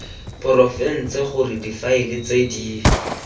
porofense gore difaele tse di